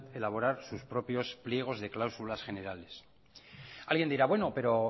elaborar sus propias pliegos de cláusulas generales alguien dirá pero bueno